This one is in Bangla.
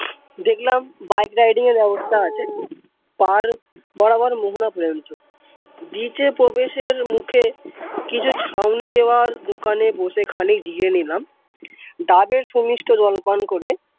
দেখলাম bike riding এর ব্যবস্থা আছে পাড় বরাবর মোহনা পর্যন্ত beach এ প্রবেশের মুখে কিছু ছাওনি দেওয়া দোকানে বসে খানিক জিরিয়ে নিলাম। ডাবের সুমিষ্ট জল পান করে ।